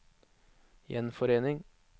gjenforening